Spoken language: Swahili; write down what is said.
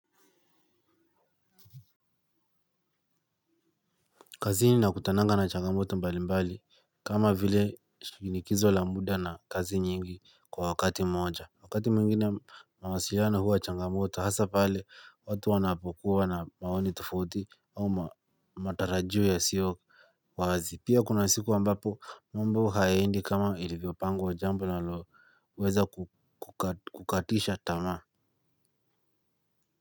Kazini nakutanaga na changamoto mbalimbali kama vile shinikizo la muda na kazi nyingi kwa wakati mmoja. Wakati mwingine mawasiliano huwa changamoto hasa pale watu wanapokuwa na maoni tofauti au matarajio yasiyowazi pia kuna siku ambapo mambo hayaeindi kama ilivyopangwa jambo linaloweza kukatisha tamaa.